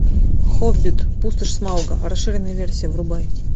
хоббит пустошь смауга расширенная версия врубай